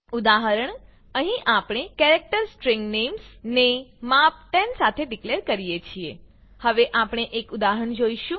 ઉદાહરણ અહીં આપણે કેરેક્ટર સ્ટ્રીંગ નેમ્સ ને માપ 10 સાથે ડીકલેર કરી છે હવે આપણે એક ઉદાહરણ જોઈશું